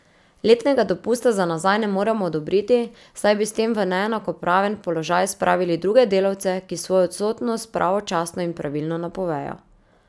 Letnega dopusta za nazaj ne moremo odobriti, saj bi s tem v neenakopraven položaj spravili druge delavce, ki svojo odsotnost pravočasno in pravilno napovejo.